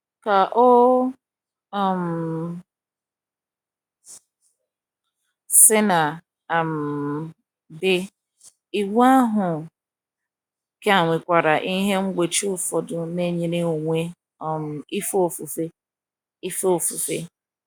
Ka o um sina um dị, iwu ahụ ka nwekwara ihe mgbochi ụfọdụ ná nyere onwe um ife ofufe. ife ofufe.